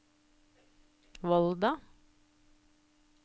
Volda